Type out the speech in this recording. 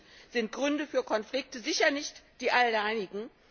Auch dies sind Gründe für Konflikte, sicher nicht die einzigen.